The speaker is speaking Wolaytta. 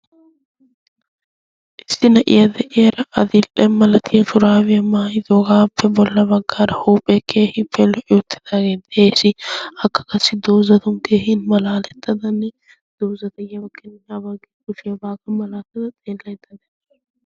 issi na'iya de'iyaara atiildhe malatiya shuraawiya maayi doogaappe bolla baggaara huuphee keehi pelo yuuttidaagee xeesi akka kassi doozatun teehin malaalettadanne doozatayiyaa bakkinanne habaggii kushaabaaga malaattada xeellettada?